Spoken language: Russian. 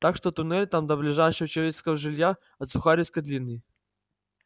так что туннель там до ближайшего человеческого жилья от сухаревской длинный